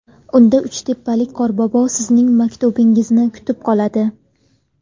Unda uchtepalik qorbobo sizning maktubingizni kutib qoladi.